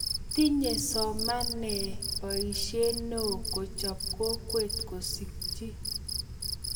tinye somanee boisie neoo kochop kokwe kusikchi